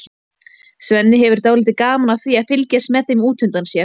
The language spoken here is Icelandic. Svenni hefur dálítið gaman af því að fylgjast með þeim út undan sér.